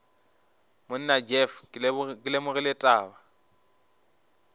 monna jeff ke lemogile taba